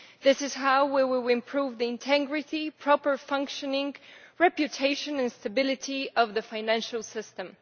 This is how we will improve the integrity, proper functioning, reputation and stability of the financial system.